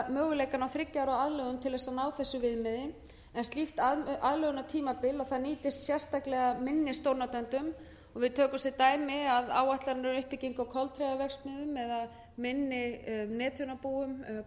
möguleikana á þriggja ára aðlögun til að ná þessu viðmiði en slíkt aðlögunartímabil nýtist sérstaklega minni stórnotendum og við tökum sem dæmi að áætlanir um uppbyggingu á koliðaverksmiðjum eða minni netþjónabúum gagnaverum